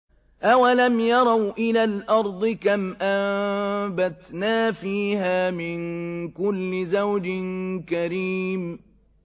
أَوَلَمْ يَرَوْا إِلَى الْأَرْضِ كَمْ أَنبَتْنَا فِيهَا مِن كُلِّ زَوْجٍ كَرِيمٍ